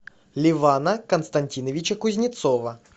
левана константиновича кузнецова